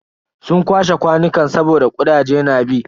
Sun kwashe kwanukan saboda kudaje na bi.